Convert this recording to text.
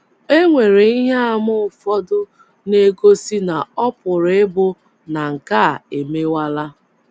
E nwere ihe àmà ụfọdụ na - egosi na ọ pụrụ ịbụ na nke a a emewala.